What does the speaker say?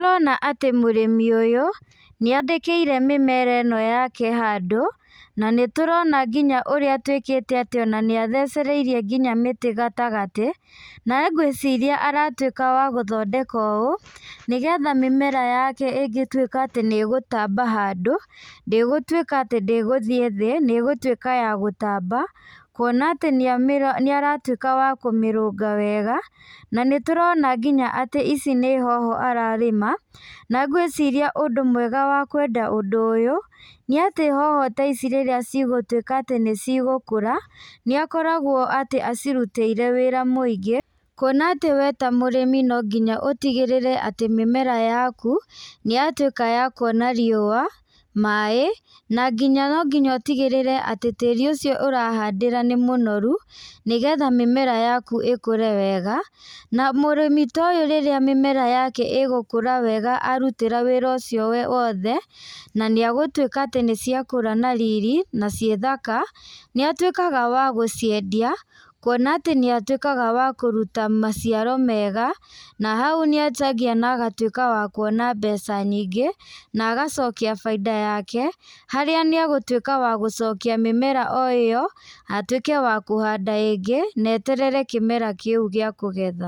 Nĩ turona atĩ mũrĩmi ũyũ, nĩ andĩkĩire mĩmera ĩno yake handũ, na nĩ turona nginya ũrĩa atuĩkĩte atĩ ona nĩ athecereirie nginya mĩtĩ gatagatĩ, na gwĩciria aratuĩka wa gũthondeka ũũ, nĩ getha mĩmera yake ĩngĩtuĩka atĩ nĩ gutamba handũ, ndĩgutuĩka atĩ ndĩgũthiĩ thĩ, nĩ gũtuĩka ya gũtamba, kuona atĩ nĩ amĩ nĩ aratuĩka wa kũmĩrũnga wega, na nĩ tũrona nginya atĩ ici nĩ hoho ararĩma, na gwĩciria ũndũ mwega wa kwenda ũndũ ũyũ, nĩ atĩ hoho ta ici rĩrĩa cigũtuĩka atĩ nĩ cigũkũra, nĩ akoragwo atĩ acirutĩire wĩra mũingĩ, kuona atĩ we ta mũrĩmi no nginya ũtigĩrĩre atĩ mĩmera yaku, nĩ yatuĩka ya kuona rĩuwa, maĩ, na nginya nonginya ũtigĩrĩre atĩ tĩri ũcio ũrahandĩra nĩ mũnoru, nĩgetha mĩmera yaku ĩkure wega, na mũrĩmi ta ũyũ rĩrĩa mĩmera yake ĩgũkũra wega arutĩra wĩra ũcio wothe, na nĩ egũtuĩka atĩ nĩ ciakũra na riri, na ciĩ thaka, nĩ atuĩkaga wa gũciendia, kuona atĩ nĩ atuĩkaga wa kũruta maciaro mega, na hau nĩ endagia na agatuĩka wa kuona mbeca nyingĩ, na agacokia baida yake, harĩa nĩ egũtuĩka wa gũcokia mĩmera o ĩyo, na atuĩke wa kũhanda ĩngĩ, na eterere kĩmera kĩu gĩa kũgetha.